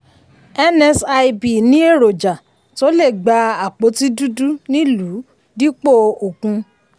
nsib ní erojà tó lè gba àpótí dudu nílùú dípò òkun.